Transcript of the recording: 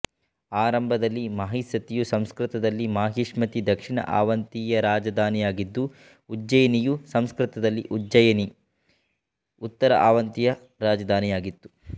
ಆರಂಭದಲ್ಲಿ ಮಹಿಸ್ಸತಿಯು ಸಂಸ್ಕೃತದಲ್ಲಿ ಮಾಹಿಷ್ಮತಿ ದಕ್ಷಿಣ ಅವಂತಿಯ ರಾಜಧಾನಿಯಾಗಿದ್ದು ಉಜ್ಜೈನಿಯು ಸಂಸ್ಕೃತದಲ್ಲಿ ಉಜ್ಜಯಿನಿ ಉತ್ತರ ಅವಂತಿಯ ರಾಜಧಾನಿಯಾಗಿತ್ತು